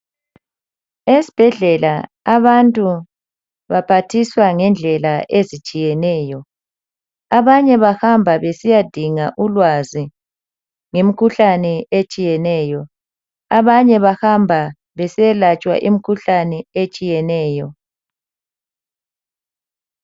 Esibhedlela abantu baphathiswa ngendlela ezitshiyeneyo. Abanye bahamba besiyadinga ulwazi ngemikhuhlane etshiyeneyo. Abanye bahamba besiyelatshwa imikhuhlane etshiyeneyo.